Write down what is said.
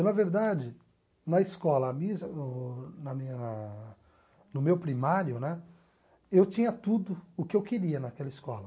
Na verdade, na escola, a mis o na minha na no meu primário né, eu tinha tudo o que eu queria naquela escola.